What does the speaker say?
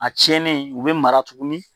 A cɛnnen u be mara tuguni